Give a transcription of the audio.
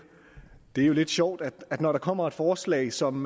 er jo lidt sjovt at når der kommer et forslag som